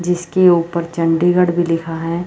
जिसके ऊपर चंडीगढ़ भी लिखा है।